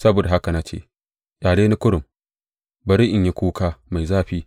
Saboda haka na ce, Ƙyale ni kurum; bari in yi kuka mai zafi.